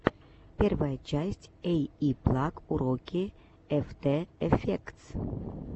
первая часть эйиплаг уроки эфтэ эфектс